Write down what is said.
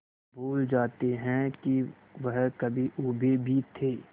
भूल जाते हैं कि वह कभी ऊबे भी थे